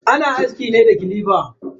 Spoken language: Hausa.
Ana aski ne da clipper.